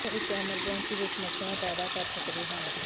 ਦੋਵੇਂ ਇੱਕ ਐਮਰਜੈਂਸੀ ਵਿੱਚ ਸਮੱਸਿਆਵਾਂ ਪੈਦਾ ਕਰ ਸਕਦੇ ਹਨ